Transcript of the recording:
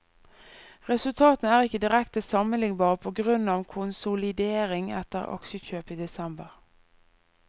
Resultatene er ikke direkte sammenlignbare, på grunn av konsolidering etter aksjekjøp i desember.